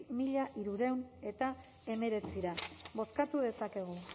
mila hirurehun eta hemeretzira bozkatu dezakegu